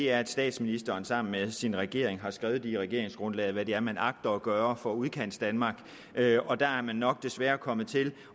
er at statsministeren sammen med sin regering har skrevet i regeringsgrundlaget hvad det er man agter at gøre for udkantsdanmark og der er man nok desværre kommet til